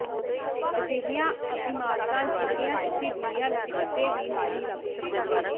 ਅਜਿਹੀਆਂ ਇਮਾਰਤਾਂ ਜਿਹੜੀਆਂ ਤੁਸੀਂ ਦੁਨੀਆ ਵਿਚ ਕਿਤੇ ਵੀ ਨਹੀਂ ਲੱਭ ਸਕੋਗੇ